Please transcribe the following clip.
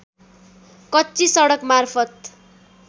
कच्ची सडक मार्फत